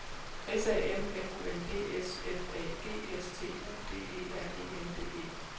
S A M F U N D S F A G S T U D E R E N D E